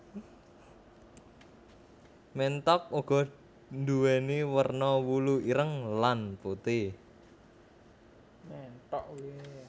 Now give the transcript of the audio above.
Ménthok uga nduwèni werna wulu ireng lan putih